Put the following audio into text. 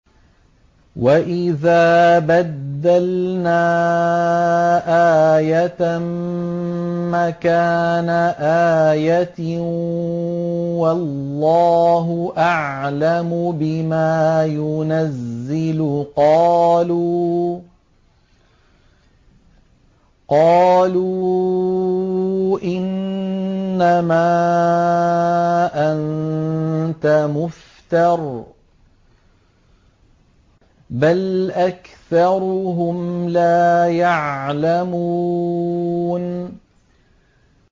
وَإِذَا بَدَّلْنَا آيَةً مَّكَانَ آيَةٍ ۙ وَاللَّهُ أَعْلَمُ بِمَا يُنَزِّلُ قَالُوا إِنَّمَا أَنتَ مُفْتَرٍ ۚ بَلْ أَكْثَرُهُمْ لَا يَعْلَمُونَ